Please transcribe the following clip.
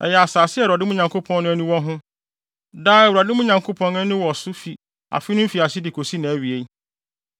Ɛyɛ asase a Awurade, mo Nyankopɔn no, ani wɔ ho. Daa Awurade, mo Nyankopɔn, ani wɔ so fi afe no mfiase de kosi nʼawie.